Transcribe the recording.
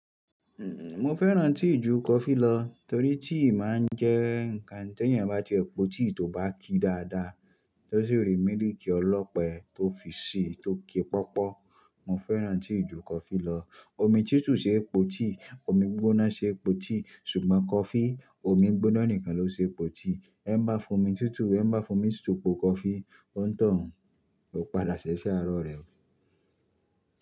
Mo fẹ́ràn tíì ju coffee lọ torí tíì máa ń jẹ́ ǹkan tí ẹ́yan bá ti e po tíì tó bá ki dáadáa, tó sì rí mílìkì ọlọ́pẹ tó fi sí tó ki pọ́pọ̀. Mo fẹ́ràn tíì ju coffee lọ. Omi tútù ṣe po tíì, omi gbigbóná ṣe po tíì ṣùgbọ́n coffee omi gbigbóná nìkan ló ṣe po tíì. Ẹ ń bá fo omi tútù wẹ̀, ẹ ń bá fo mi tútù po coffee, ó ń toun ó padà sí ese aro rẹ.